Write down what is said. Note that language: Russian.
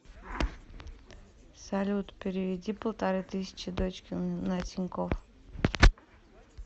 салют переведи полторы тысячи дочке на тинькофф